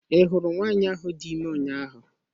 I hụrụ nwanyị ahụ dị ime ụnyaahụ?